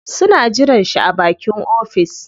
Suna jiran shi a bakin ofis.